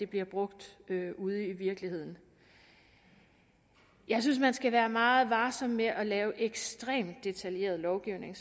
bliver brugt ude i virkeligheden jeg synes man skal være meget varsom med at lave ekstremt detaljeret lovgivning